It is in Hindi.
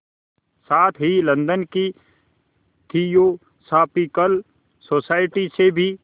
साथ ही लंदन की थियोसॉफिकल सोसाइटी से भी